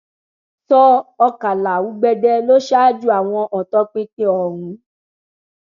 sọ ọkàlà ugbẹdẹ ló ṣáájú àwọn ọtọpinpin ọhún